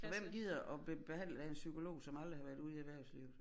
For hvem gider at blive behandlet af en psykolog som aldrig har været ude i erhverslivet